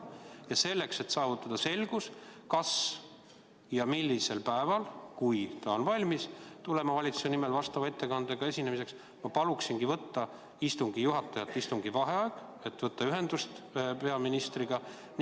Ja selleks, et saada selgus, mis päeval ja kas üldse ta on valmis tulema valitsuse nimel seda ettekannet tegema, ma palungi istungi juhatajal kuulutada välja vaheaeg, et võtta ühendust peaministriga.